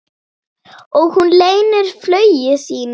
Og hún leynir flugi sínu.